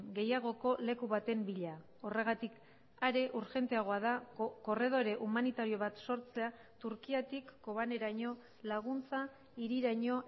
gehiagoko leku baten bila horregatik are urgenteagoa da korredore humanitario bat sortzea turkiatik kobaneraino laguntza hiriraino